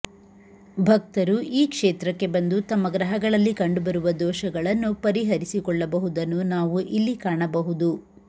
ಭಕ್ತರು ಈ ಕ್ಷೇತ್ರಕ್ಕೆ ಬಂದು ತಮ್ಮ ಗ್ರಹಗಳಲ್ಲಿ ಕಂಡುಬರುವ ದೋಷಗಳನ್ನು ಪರಿಹರಿಸಿಕೊಳ್ಳಬಹುದನ್ನು ನಾವು ಇಲ್ಲಿ ಕಾಣಬಹುದು